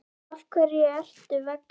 Af hverju ertu vegan?